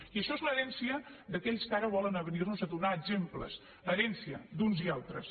i això és l’herència d’aquells que ara volen venir nos a donar exemple herència d’uns i altres